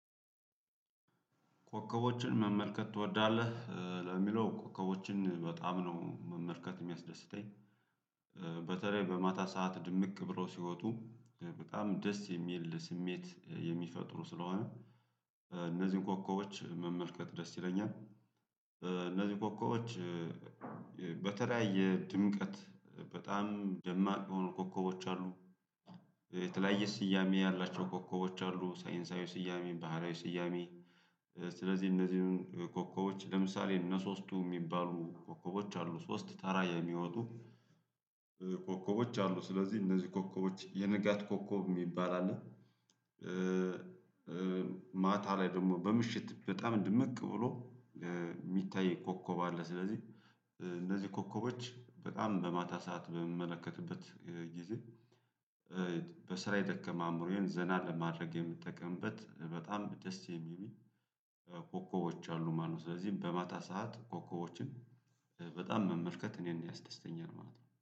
ኮከቦችን መመልከት ትወዳለህ ለሚለው ኮከቦችን በጣም ነው መመልከት ሚያስደስተኝ በተለይ በማታ ሰዓት ድምቅ ብሮ ሲወጡ በጣም ደስ የሚል ስሜት የሚፈጥሩ ስለሆነ እነዚህን ኮኮቦች መመልከት ደስ ይለኛል እነዚህን ኮከቦች በተለያየ ድምቀት በጣም ደማቅ የሆኑ ኮከቦች አሉ የተለያየ ስያሜ ያላቸው ኮከቦች አሉ ሳይንሳዊ ስያሜ ባህሪያዊ ስያሜ ስለዚህ እነዚህን ኮከቦች ለምሳሌ እነ ሶስቱ ሚባሉ ኮከቦች አሉ ሶስት ተራ የሚወጡ ኮከቦች አሉ ስለዚህ እነዚህ ኮከቦች የንጋት ኮኮብ ሚባል አለ። ማታ ላይ ደግሞ በምሽት በጣም ድምቅ ብሎ ሚታይ ኮከብ አለ ስለዚህ እንደዚህ ኮከቦች በጣም በማታ ሰዓት በምመለከትበት ጊዜ በስራ የደከመ አእምሮዬን ዘና ለማድረግ የምጠቀምበት በጣም ደስ የሚል ኮከቦች አሉ ማለት ነው ስለዚህ በማታ ሰዓት ኮከቦችን በጣም መመልከት እኔን ያስደስተኛል ማለት ነው